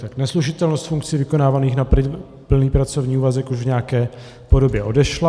Tak neslučitelnost funkcí vykonávaných na plný pracovní úvazek už v nějaké podobě odešla.